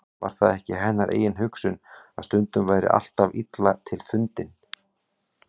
Var það ekki hennar eigin hugsun, að stundin væri alltaf illa til fundin.